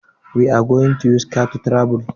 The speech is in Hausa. We are going to use your car to travel.